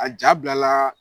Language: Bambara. A ja bilalaa